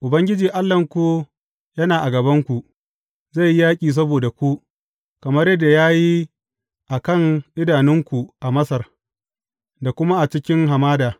Ubangiji Allahnku yana a gabanku, zai yi yaƙi saboda ku, kamar yadda ya yi a kan idanunku a Masar, da kuma a cikin hamada.